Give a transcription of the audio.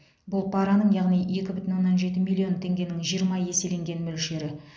бұл параның яғни екі бүтін оннан жеті миллион теңгенің жиырма еселенген мөлшері